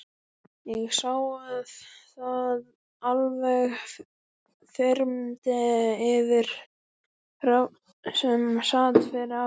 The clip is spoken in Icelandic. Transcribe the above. Ég sá að það alveg þyrmdi yfir Hrafn, sem sat fyrir aftan